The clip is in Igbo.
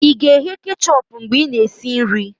ị ga-eghe kechọpụ mgbe ị na-esi nri?